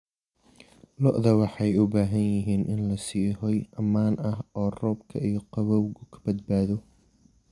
Lo'da waxay u baahan yihiin in la siiyo hoy ammaan ah oo roobka iyo qabowgu ka badbaado.